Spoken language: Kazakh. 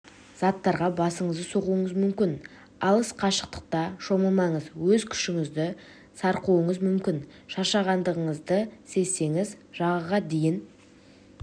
заттарға басыңызды соғуыңыз мүмкін алыс қашықтықта шомылмаңыз өз күшіңізді сарқуыңыз мүмкін шаршағандығыңызды сезсеңіз жағаға дейін